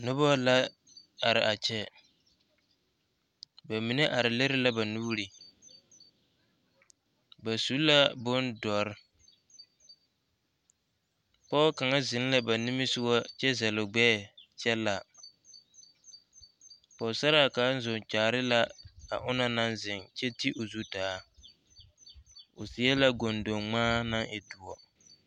Dɔbɔ bata la are siitɔɔ poɔ la ka ba are bibiiri bone deɛne la pare a dare zu a dɔɔ nyɔge la a daka kaŋ